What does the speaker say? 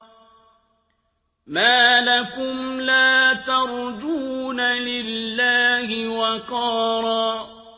مَّا لَكُمْ لَا تَرْجُونَ لِلَّهِ وَقَارًا